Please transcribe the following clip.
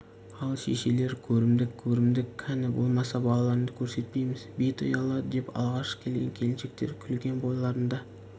ал шешелер көрімдік көрімдік кәні болмаса балаларыңды көрсетпейміз беті ұялады деп алғашқы келген келіншектер күлген бойларында